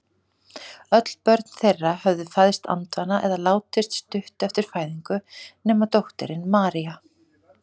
Öll börn þeirra höfðu fæðst andvana eða látist stuttu eftir fæðingu nema dóttirin María.